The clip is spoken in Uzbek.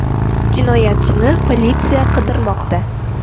Jinoyatchini politsiya qidirmoqda.